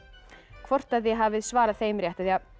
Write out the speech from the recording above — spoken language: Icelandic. hvort þið hafið svarað þeim rétt